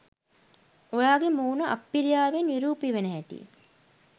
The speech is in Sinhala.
ඔයාගෙ මුණ අප්පිරියාවෙන් විරූපි වෙන හැටි